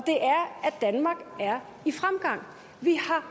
danmark er i fremgang vi har